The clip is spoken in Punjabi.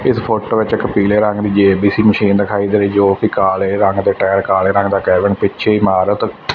ਇਸ ਫੋਟੋ ਵਿੱਚ ਇੱਕ ਪੀਲੇ ਰੰਗ ਦੀ ਜੇ_ਬੀ_ਸੀ ਮਸ਼ੀਨ ਦਿਖਾਈ ਦੇ ਰਈ ਹੈ ਜੋ ਕਿ ਕਾਲੇ ਰੰਗ ਦੇ ਟਾਇਰ ਕਾਲੇ ਰੰਗ ਦਾ ਕੈਬਨ ਪਿੱਛੇ ਇਮਾਰਤ--